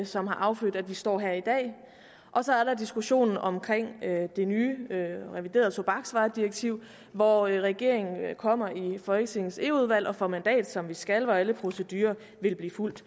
som har affødt at vi står her i dag og så er der diskussionen om det nye reviderede tobaksvaredirektiv hvor regeringen kommer i folketingets eu udvalg og får mandat som den skal og hvor alle procedurer vil blive fulgt